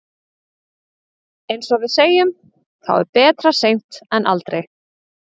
Eins og við segjum, þá er betra seint en aldrei.